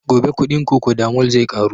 Gobe kuɗin cocodamol zai ƙaru